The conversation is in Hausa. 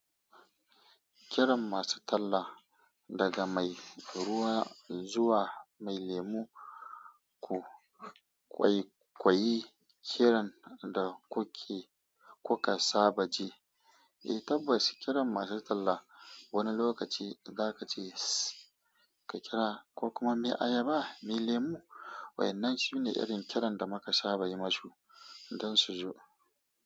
Kiran masu talla daga mai ruwa zuwa mai lemu, ku ƙwaiƙwayi kiran da kuke kuka saba ji. Eh tabbas, kiran masu talla wani lokaci za ka ce ka kira ko kuma me ayaba, mai lemu, waɗannan shine irin kiran da muka saba yi musu don su zo.